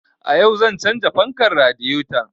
A yau zan canza fankar radiyeton